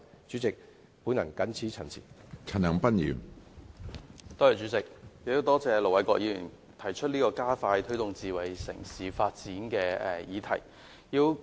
主席，多謝盧偉國議員提出這個加快推動智慧城市發展的議案。